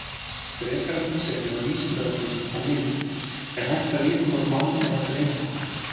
Frekara lesefni á Vísindavefnum og mynd Er hægt að vita hvort mann er að dreyma?